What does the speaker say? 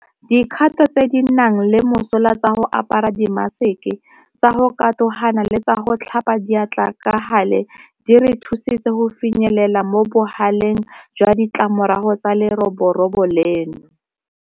Dikgato tse di nang le mosola tsa go apara dimaseke, tsa go katogana le tsa go tlhapa diatla ka gale di re thusitse go finyelela mo bogaleng jwa ditlamorago tsa leroborobo leno.